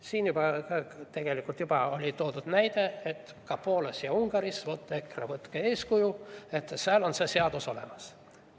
Siin juba toodi näide, et ka Poolas ja Ungaris, EKRE, võtke eeskuju, seal on see seadus olemas.